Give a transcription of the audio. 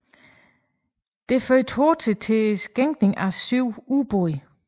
Det førte hurtigt til sænkning af syv ubåde